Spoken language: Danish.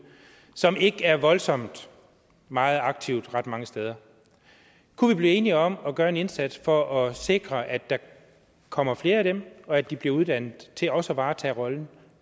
som ikke er voldsomt meget aktive ret mange steder kunne vi blive enige om at gøre en indsats for at sikre at der kommer flere af dem og at de bliver uddannet til også at varetage rollen